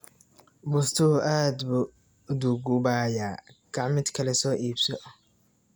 Bustuhu aad buu u duugoobayaa, kaac mid kale soo iibso.